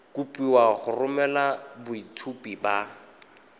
kopiwa go romela boitshupo ba